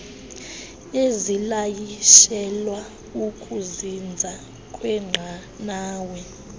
ezilayishelwa ukuzinza kwenqanawa